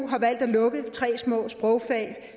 har valgt at lukke tre små sprogfag